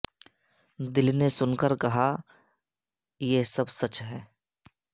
دل نے سن کر کہا یہ سب سچ ہے